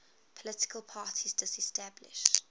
political parties disestablished